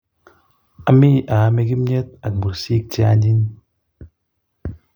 Ami aame kimnet ak mursik che anyiny